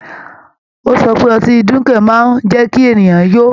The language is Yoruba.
Ó sọ pé ọtí dunkel máa ń jẹ́ kí ènìyàn yó.